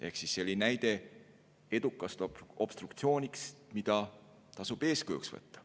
Ehk siis see oli näide edukast obstruktsioonist, mida tasub eeskujuks võtta.